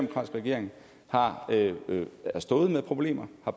regering har stået med problemer og